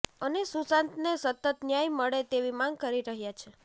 અને સુશાંતને સતત ન્યાય મળે તેવી માંગ કરી રહ્યા છે